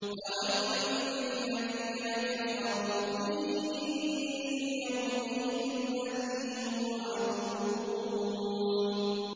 فَوَيْلٌ لِّلَّذِينَ كَفَرُوا مِن يَوْمِهِمُ الَّذِي يُوعَدُونَ